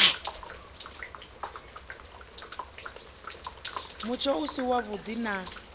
mutsho u si wavhuḓi na